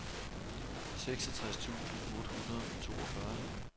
seksogtres tusind otte hundrede og toogfyrre